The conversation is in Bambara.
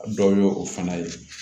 Dɔ ye o fana ye